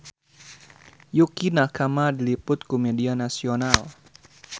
Yukie Nakama diliput ku media nasional